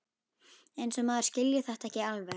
Eins og maður skilji þetta ekki alveg!